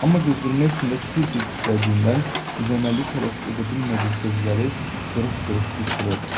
Amma qızdırma içində tir-tir titrədiyindən düz əməlli tələffüz edə bilmədiyi sözləri qırıq-qırıq qışqırırdı.